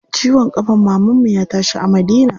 Ciwon ƙafan mamanmu ya tashi a Madina.